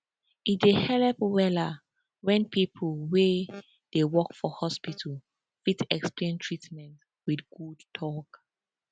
e dey helep wella when people wey dey work for hospital fit explain treatment with good talk